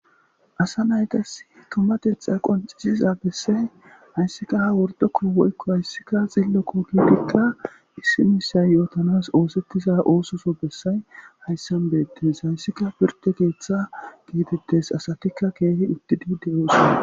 Asa naytas tummateta qoncisiza bessay hayssika ha wordokko woykko hayssikka xillo ko giidikka issimissay yootanas oosettiza oososo bessay hayssan beettes hayssika pirte geeththa geetettes asatikka keehi uttidi de7oosana.